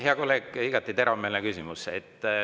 Hea kolleeg, igati teravmeelne küsimus.